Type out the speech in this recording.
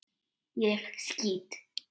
Ég skýt!